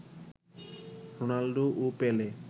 Ronaldo ও পেলে